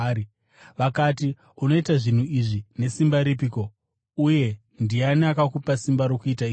Vakati, “Unoita zvinhu izvi nesimba ripiko? Uye ndiani akakupa simba rokuita izvi?”